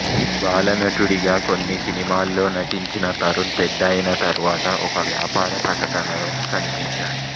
బాలనటుడిగా కొన్ని సినిమాల్లో నటించిన తరుణ్ పెద్దయిన తర్వాత ఒక వ్యాపార ప్రకటనలో కనిపించాడు